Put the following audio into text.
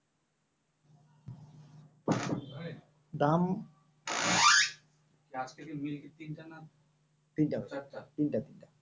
দাম